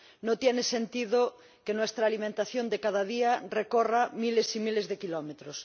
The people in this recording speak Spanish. No tiene sentido que nuestra alimentación de cada día recorra miles y miles de kilómetros.